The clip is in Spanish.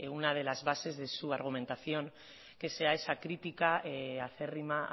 una de las bases de su argumentación que sea esa crítica acérrima